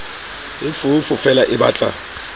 e foofo feela e batla